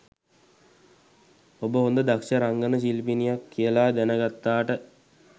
ඔබ හොඳ දක්ෂ රංගන ශිල්පිනියක් කියලා දැන ගත්තාට